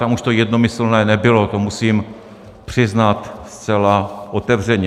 Tam už to jednomyslné nebylo, to musím přiznat zcela otevřeně.